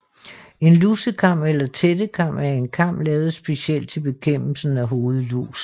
En lusekam eller tættekam er en kam lavet specielt til bekæmpelsen af hovedlus